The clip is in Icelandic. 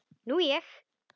Nú ég.